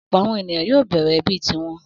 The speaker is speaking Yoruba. Ọ̀pọ̀ àwọn ènìyàn yóò bẹ̀rẹ̀ ẹbí ti wọn.